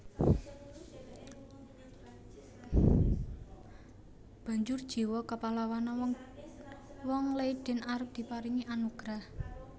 Banjur jiwa kapahlawanan wong wong Leiden arep diparingi anugrah